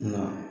Nka